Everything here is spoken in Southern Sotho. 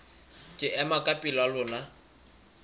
ke ema ka pela lona